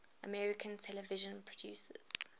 american television producers